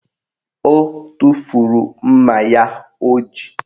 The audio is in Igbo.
O tufuru mma ya o ji